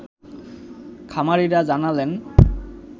খামারিরা জানালেন